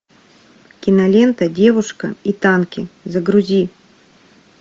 кинолента девушка и танки загрузи